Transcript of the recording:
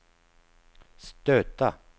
stöta